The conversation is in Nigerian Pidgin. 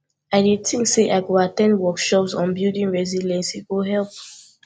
i dey think say i go at ten d workshops on building resilience e go help